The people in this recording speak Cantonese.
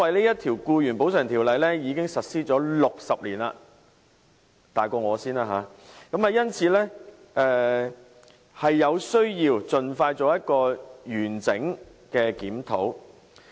因為這項《僱員補償條例》已經實施了60年——比我還要年長，因此有需要盡快進行完整的檢討。